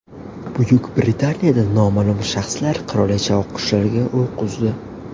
Buyuk Britaniyada noma’lum shaxslar qirolicha oqqushlariga o‘q uzdi.